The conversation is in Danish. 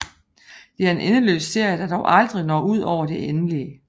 Det er en endeløs serie der dog aldrig når ud over det endelige